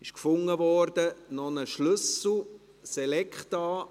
Ich habe hier noch einen Schlüssel, der gefunden wurde: